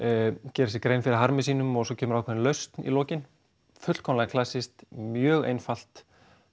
gera sér grein fyrir harmi sínum og svo kemur ákveðin lausn í lokin fullkomlega klassískt mjög einfalt